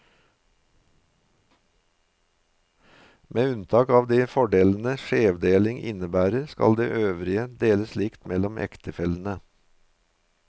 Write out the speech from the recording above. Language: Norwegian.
Med unntak av de fordelene skjevdeling innebærer, skal det øvrige deles likt mellom ektefellene.